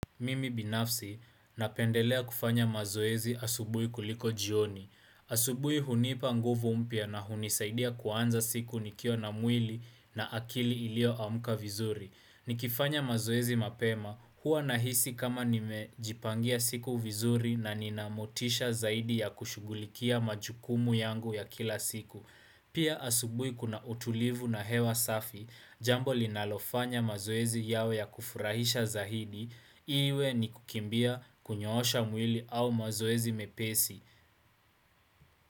Mimi binafsi, napendelea kufanya mazoezi asubuhi kuliko jioni. Asubuhi hunipa nguvu mpya na hunisaidia kuanza siku nikiwa na mwili na akili ilioamka vizuri. Nikifanya mazoezi mapema, hua nahisi kama nimejipangia siku vizuri na nina motisha zaidi ya kushugulikia majukumu yangu ya kila siku. Pia asubuhi kuna utulivu na hewa safi, jambo linalofanya mazoezi yawe ya kufurahisha zaidi, iwe ni kukimbia kunyoosha mwili au mazoezi mepesi.